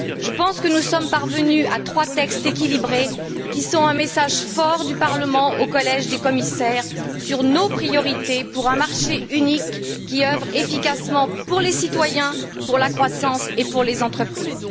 Je pense que nous sommes parvenus à trois textes équilibrés, qui sont un message fort du Parlement au collège des commissaires sur nos priorités pour un marché unique qui œuvre efficacement pour les citoyens, pour la croissance et pour les entreprises.